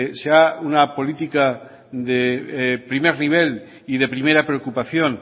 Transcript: sea una política de primer nivel y de primera preocupación